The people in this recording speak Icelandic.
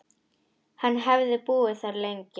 Hann hefði búið þar lengi.